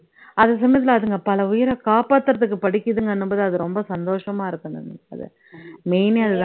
அது சமயத்துல அதுங்க பல உயிரை காப்பாத்துறதுக்கு படிக்குதுங்கன்னும் போது அது ரொம்ப சந்தோஷமா இருக்கும் நந்தினி அது main ஏ அது தான்